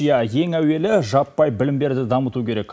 иә ең әуелі жаппай білім беруді дамыту керек